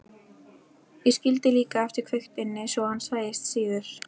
Ég skildi líka eftir kveikt inni svo hann sæist síður.